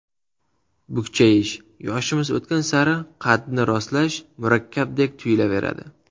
Bukchayish Yoshimiz o‘tgan sari qadni rostlash murakkabdek tuyulaveradi.